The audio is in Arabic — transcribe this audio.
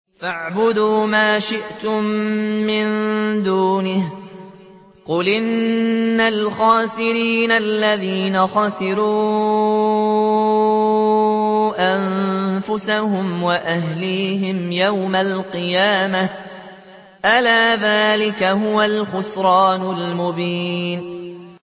فَاعْبُدُوا مَا شِئْتُم مِّن دُونِهِ ۗ قُلْ إِنَّ الْخَاسِرِينَ الَّذِينَ خَسِرُوا أَنفُسَهُمْ وَأَهْلِيهِمْ يَوْمَ الْقِيَامَةِ ۗ أَلَا ذَٰلِكَ هُوَ الْخُسْرَانُ الْمُبِينُ